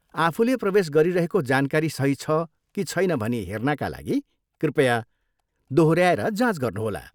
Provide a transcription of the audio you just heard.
आफूले प्रवेश गरिरहेको जानकारी सही छ कि छैन भनी हेर्नाका लागि कृपया दोहोऱ्याएर जाँच गर्नुहोला।